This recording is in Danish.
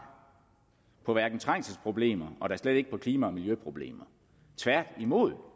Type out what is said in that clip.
på trængselsproblemerne og da slet ikke på klima og miljøproblemerne tværtimod